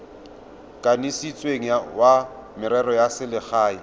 kanisitsweng wa merero ya selegae